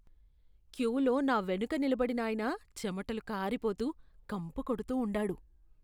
క్యూలో నా వెనుక నిలబడినాయన చెమటలు కారిపోతూ, కంపు కొడుతూ ఉండాడు.